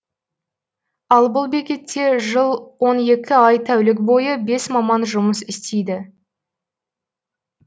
ал бұл бекетте жыл он екі ай тәулік бойы бес маман жұмыс істейді